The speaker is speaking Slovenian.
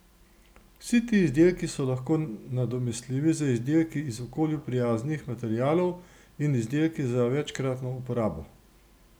Vsi ti izdelki so lahko nadomestljivi z izdelki iz okolju prijaznih materialov in izdelki za večkratno uporabo.